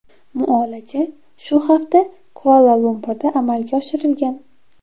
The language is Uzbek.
Muolaja shu hafta Kuala-Lumpurda amalga oshirilgan.